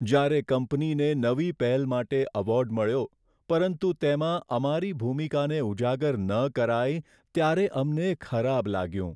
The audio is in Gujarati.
જ્યારે કંપનીને નવી પહેલ માટે એવોર્ડ મળ્યો, પરંતુ તેમાં અમારી ભૂમિકાને ઉજાગર ન કરાઈ, ત્યારે અમને ખરાબ લાગ્યું.